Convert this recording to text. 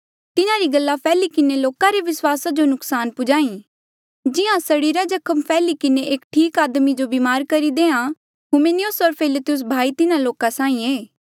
तिन्हारी गल्ला फैली किन्हें लोका रे विस्वासा जो नुकसान पुजाई जिहां सड़ीरा जख्म फैली किन्हें एक ठीक आदमी जो बीमार करी देआ हुमिनियुस होर फिलेतुस भाई तिन्हा लोका साहीं ऐें